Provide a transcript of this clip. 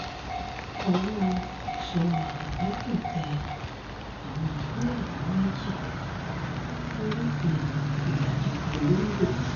ọwọ́ èso àmọ̀tẹ́kùn tẹ àwọn fúlàní méjì tó rúfin ìfẹ́ranjẹko lóńdó